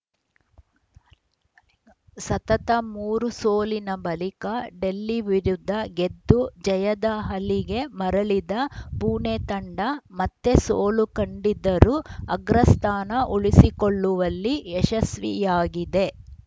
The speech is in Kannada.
ಸತತ ಮೂರು ಸೋಲಿನ ಬಳಿಕ ಡೆಲ್ಲಿ ವಿರುದ್ಧ ಗೆದ್ದು ಜಯದ ಹಲಿಗೆ ಮರಳಿದ್ದ ಪುಣೆ ತಂಡ ಮತ್ತೆ ಸೋಲು ಕಂಡಿದ್ದರೂ ಅಗ್ರಸ್ಥಾನ ಉಳಿಸುಕೊಳ್ಳುವಲ್ಲಿ ಯಶಸ್ವಿಯಾಗಿದೆ